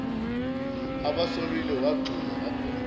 ubasolile wagxuma wagona